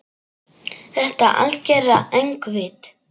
Þetta algera öngvit?